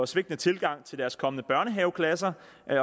svigtende tilgang til deres kommende børnehaveklasser